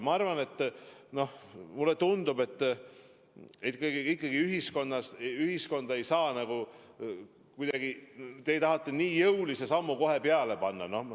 Mina arvan, mulle tundub, et ühiskonda ikkagi ei saa nagu kuidagi käskida – te tahate nii jõulise sammu kohe teha.